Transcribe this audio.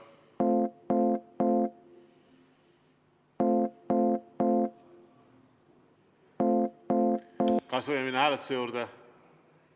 Kas võime minna hääletuse juurde?